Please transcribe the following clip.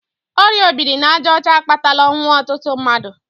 Ọrịa obirinajaọcha akpatala ọnwụ ọtụtụ mmadụ.